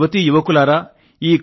నా యువతీ యువకులారా